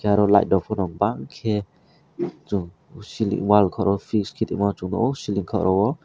oro light rok pono bangke chung siling wal koro piske tongma chung nogo siling koro o.